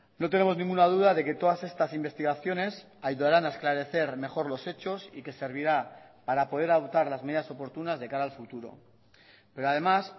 no tenemos ninguna duda de que todas estas investigaciones ayudarán a esclarecer mejor los hechos y que servirá para poder adoptar las medidas oportunas de cara al futuro pero además